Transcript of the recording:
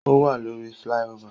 O wa lórí flyover